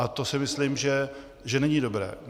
A to si myslím, že není dobré.